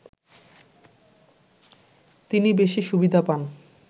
তিনি বেশি সুবিধা পান